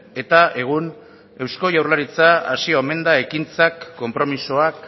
eta egun eusko jaurlaritza hasi omen da ekintzak konpromisoak